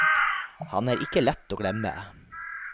Han er ikke lett å glemme.